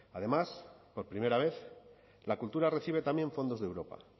además por primera vez la cultura recibe también fondos de europa